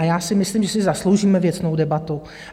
A já si myslím, že si zasloužíme věcnou debatu.